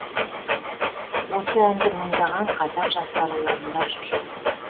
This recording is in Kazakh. осы әнді мыңдаған қазақ жастары орындап жүр